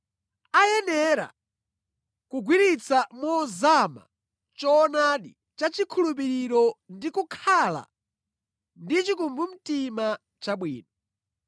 Ayenera kugwiritsa mozama choonadi cha chikhulupiriro ndi kukhala ndi chikumbumtima chabwino.